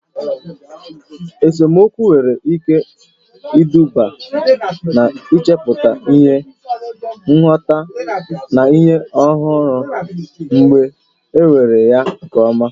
Esemokwu nwere ike iduga n'ichepụta ihe, nghọta, na ihe ọhụrụ mgbe e mere ya nke ọma.